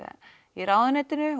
í ráðuneytinu